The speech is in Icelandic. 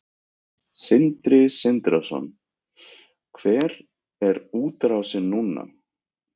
Sindri Sindrason: Hver er útrásin núna?